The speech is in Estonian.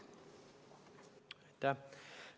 Aitäh!